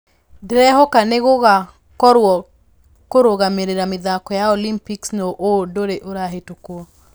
Ndĩrehoka nĩgũcagorwo kũrũgamĩrĩra mĩthako ya olympics nũ Ũũ ndũrĩ ũrahĩtũkio.